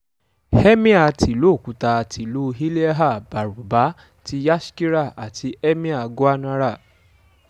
emir tìlú òkúta tìlú ilhéhà-bárúbà ti yashkira àti emir gwanára